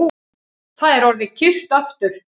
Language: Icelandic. Það er orðið kyrrt aftur